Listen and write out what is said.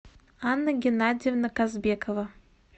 анна геннадьевна казбекова